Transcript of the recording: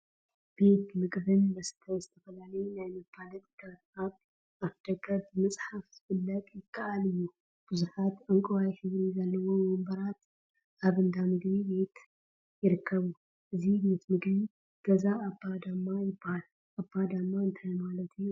ቤት ምግቢን መስተን ዝተፈላለዩ ናይ መፋለጢታት አብ አፍ ደገ ብምፅሓፍ ምፍላጥ ይከአል እዩ፡፡ ቡዙሓት ዕንቋይ ሕብሪ ዘለዎም ወንበራን አብ እንዳ ምግቢ ቤት ይርከቡ፡፡ እዚ ቤት ምግቢ ገዛ አባ ዳማ ይበሃል፡፡ አባ ዳማ እንታይ ማለት እዩ?